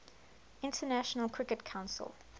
international cricket council